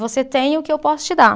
Você tem o que eu posso te dar.